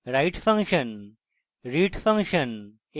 write function read function